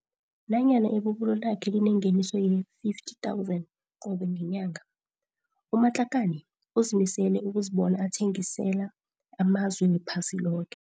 Nanyana ibubulo lakhe linengeniso yee-R50 000 qobe ngenyanga, u-Matlakane uzimisele ukuzibona athengisela amazwe wephasi loke.